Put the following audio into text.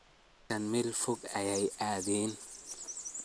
Dadkan meel fog aya aaden.